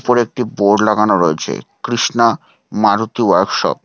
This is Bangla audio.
উপরে একটি বোর্ড লাগানো রয়েছে কৃষ্ণা মারুতি ওয়ার্কশপ ।